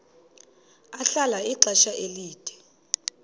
ahlala ixesha elide